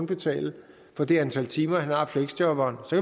betale for det antal timer han har fleksjobberen så